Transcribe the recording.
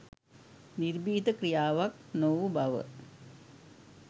නිර්භීත ක්‍රියාවක් නොවූ බව